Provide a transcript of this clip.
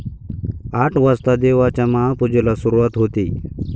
आठ वाजता देवाच्या महापूजेला सुरुवात होते.